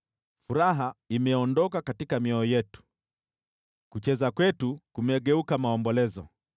Furaha imeondoka mioyoni mwetu, kucheza kwetu kumegeuka maombolezo.